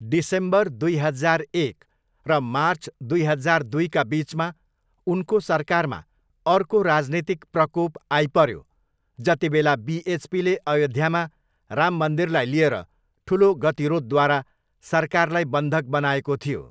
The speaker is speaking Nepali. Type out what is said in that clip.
डिसेम्बर दुई हजार एक र मार्च दुई हजार दुईका बिचमा उनको सरकारमा अर्को राजनीतिक प्रकोप आइपऱ्यो जतिबेला बिएचपीले अयोध्यामा राम मन्दिरलाई लिएर ठुलो गतिरोधद्वारा सरकारलाई बन्धक बनाएको थियो।